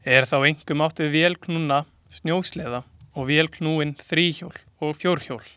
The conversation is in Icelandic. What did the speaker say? Er þá einkum átt við vélknúna snjósleða og vélknúin þríhjól og fjórhjól.